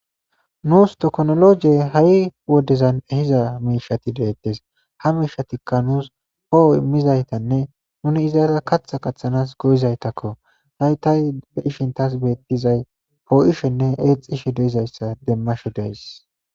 Nuus toknologey ha7i woddezan ehiza miishati deettes ha miishatikka nuus hoo immizaytanne nuni izara katha kaththanas goyizaytakko ha7y tay be ishintas beettizay poo7ishenne eexxishe deizayssa demmasho deys